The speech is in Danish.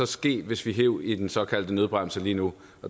ske hvis vi hev i den såkaldte nødbremse lige nu